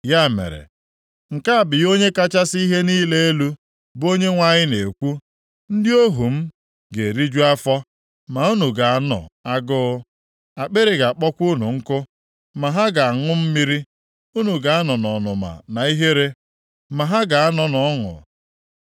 Ya mere, nke a bụ ihe Onye kachasị ihe niile elu, bụ Onyenwe anyị na-ekwu, “Ndị ohu m ga-eriju afọ, ma unu ga-anọ agụụ, akpịrị ga-akpọkwa unu nkụ, ma ha ga-aṅụ mmiri. Unu ga-anọ nʼọnụma na ihere, ma ha ga-anọ nʼọṅụ.